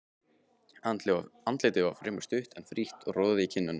Andlitið var fremur stutt, en frítt og roði í kinnum.